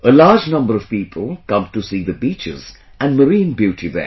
A large number of people come to see the beaches and marine beauty there